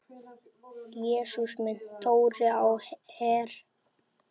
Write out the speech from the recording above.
Jesús minn, Dóri á Her!